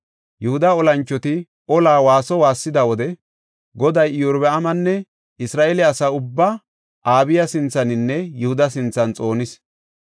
Yihuda olanchoti ola waaso waassida wode Goday Iyorbaamanne Isra7eele asaa ubbaa Abiya sinthaninne Yihuda sinthan xoonis.